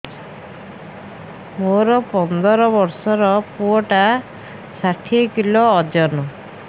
ମୋର ପନ୍ଦର ଵର୍ଷର ପୁଅ ଟା ଷାଠିଏ କିଲୋ ଅଜନ